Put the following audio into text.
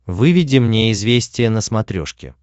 выведи мне известия на смотрешке